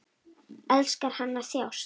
Elskar hann að þjást?